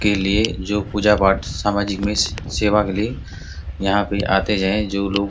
के लिए जो पूजा पाठ सामाजिक में सेवा के लिए यहाँ पे आते है जो लोग --